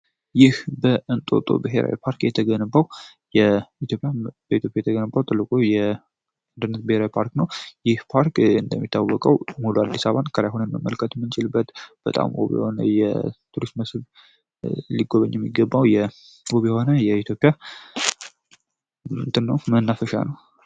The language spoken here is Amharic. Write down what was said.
ይህ በእንጦጦ ብሄራዊ ፓርክ ገውበኢትዮፒያ የተገንባው ትልቁ የአንድርነት ብሄራይ ፓርክ ነ ይህ ፓርክ እንደሚታወቀው ሙሉ 1ዲ7 ከላይሆን መልከት ምንጂል በት በጣም ቡብ ሆነ የቱሪስት መስርብ ሊጎበኝ የሚገባው የቡብ ሆነ የኢትዮፒያ ኖው መናፈሻ ነው፡፡